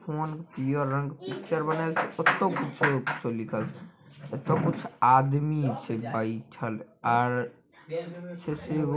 phone पीयर रंग के पिक्चर बनाएल छै ओतो पिक्चर कुछ आदमी छै बैएठल आर ---